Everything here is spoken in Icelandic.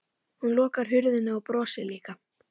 Hún lokar hurðinni og brosir líka.